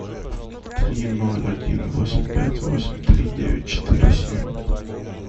три ноль один восемь пять восемь три девять четыре семь